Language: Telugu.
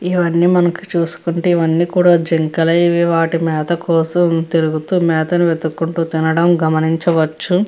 ఇవన్నీ మనకు చూసుకుంటే ఇవన్నీ కూడా జింకలు ఇవి వాటి మేత కోసం తిరుగుతూ మేతని వెత్తుకుంటూ తినడం గమనించవచ్చు.